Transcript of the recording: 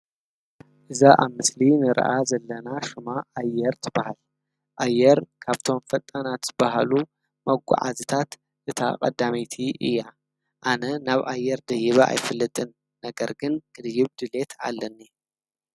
እዛ ኣብ ምሰሊ እኒራኣ ዘለና ሽማ ኣየር ትባሃል ኣየር ካብቶሞ ፈጣናት ዝባሃሉ መጋዓዝያ እታ ቀዳመይቲ እያ ኣነ ናብ ኣየር ደይበ ኣይፈልጥን ነገር ግን ንክድይብ ድልየት ኣለኒ::